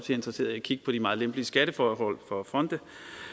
interesserede i at kigge på de meget lempelige skatteforhold for fonde